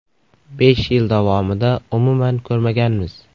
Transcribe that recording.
Besh yil davomida umuman ko‘rmaganmiz.